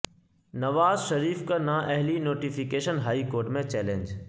نواز شریف کا نااہلی notification high court میں چیلنج